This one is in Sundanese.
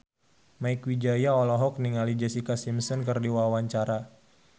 Mieke Wijaya olohok ningali Jessica Simpson keur diwawancara